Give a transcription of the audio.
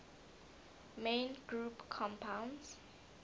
main group compounds